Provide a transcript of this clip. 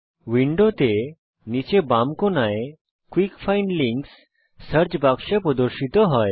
উইন্ডোতে নীচে বাম কোণায় কুইক ফাইন্ড লিঙ্কস সার্চ বাক্সে প্রদর্শিত হয়